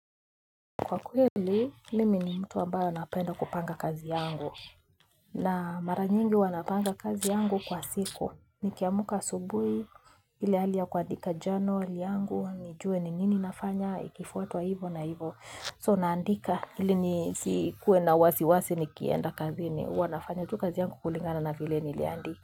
Kwa kweli mimi ni mtu ambayo napenda kupanga kazi yangu na mara nyingi huwa napanga kazi yangu kwa siku ni kiamka asubuhi ile hali ya kuandika journal yangu nijue ni nini nafanya ikifuatwa hivyo na hivyo So naandika ili ni sikuwe na wasi wasi nikienda kazi ni huwa nafanya tu kazi yangu kulingana na vile niliandika.